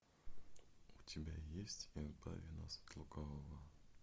у тебя есть избави нас от лукавого